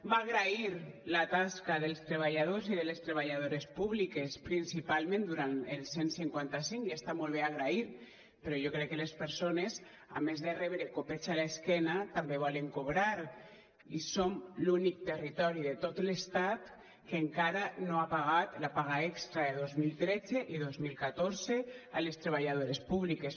va agrair la tasca dels treballadors i de les treballadores públiques principalment durant el cent i cinquanta cinc i està molt bé agrair però jo crec que les persones a més de rebre copets a l’esquena també volen cobrar i som l’únic territori de tot l’estat que encara no ha pagat la paga extra de dos mil tretze i dos mil catorze a les treballadores públiques